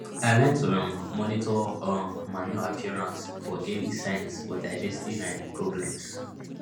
i learn to um monitor um manure appearance for early signs for digestive um problems